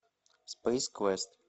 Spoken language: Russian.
спейс квест